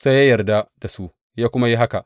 Sai ya yarda da su, ya kuma yi haka.